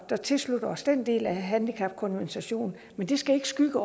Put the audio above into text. der tilslutter os den del af handicapkonventionen men det skal ikke skygge